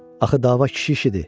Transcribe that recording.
Axı dava kişi işidir.